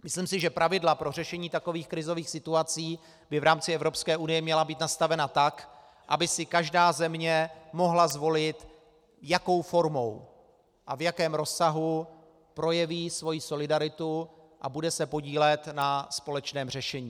Myslím si, že pravidla pro řešení takových krizových situací by v rámci Evropské unie měla být nastavena tak, aby si každá země mohla zvolit, jakou formou a v jakém rozsahu projeví svoji solidaritu a bude se podílet na společném řešení.